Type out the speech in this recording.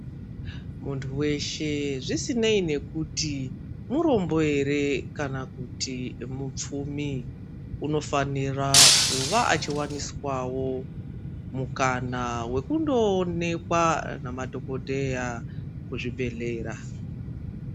Muntu weshe zvisinei kuti murombo ere kana kuti mupfumi unofanira kuva achiwaniswawo mukana wekundoonekwa nemadhokhodheya kuzvibhehlera .